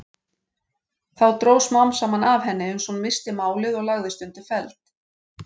Þá dró smám saman af henni uns hún missti málið og lagðist undir feld.